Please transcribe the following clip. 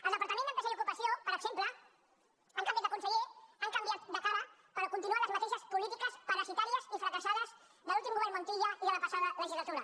al departament d’empresa i ocupació per exemple han canviat de conseller han canviat de cara però continuen les mateixes polítiques parasitàries i fracassades de l’últim govern montilla i de la passada legislatura